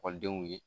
Ekɔlidenw ye